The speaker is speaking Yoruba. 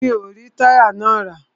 Mi o rí táyà náà rà.